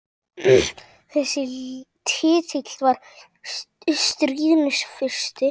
Þessi titill var stríðni fyrst.